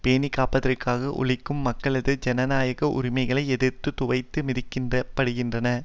பேணி காப்பதற்காக உழைக்கும் மக்களது ஜனநாயக உரிமைகள் எதிர்த்து துவைத்து மிதிக்கப்படுகின்றன